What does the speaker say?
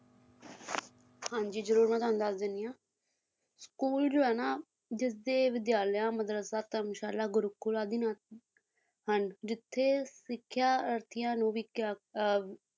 ਹਾਂਜੀ ਜਰੂਰ ਮੈਂ ਤੁਹਾਨੂੰ ਦੱਸ ਦੇਣੀ ਆ school ਜੋ ਹੈ ਨਾ ਜਿਸ ਦੇ ਵਿਦਿਆਲਿਆ ਧਰਮਸ਼ਾਲਾ, ਗੁਰੂਕੁਲ ਆਦਿ ਨਾਮ ਹਨ ਜਿੱਥੇ ਸਿੱਖਿਆਰਥੀਆਂ ਨੂੰ ਵੀ ਅਹ